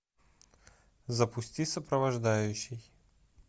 запусти сопровождающий